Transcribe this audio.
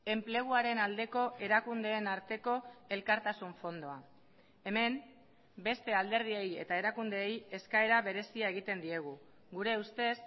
enpleguaren aldeko erakundeen arteko elkartasun fondoa hemen beste alderdiei eta erakundeei eskaera berezia egiten diegu gure ustez